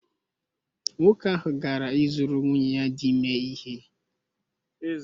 Nwoke ahụ gara ịzụrụ nwunye ya dị ime ihe